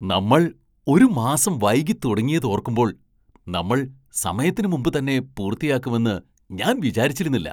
നമ്മൾ ഒരു മാസം വൈകി തുടങ്ങിയത് ഓർക്കുമ്പോൾ, നമ്മൾ സമയത്തിന് മുമ്പ് തന്നെ പൂർത്തിയാക്കുമെന്ന് ഞാൻ വിചാരിച്ചിരുന്നില്ല .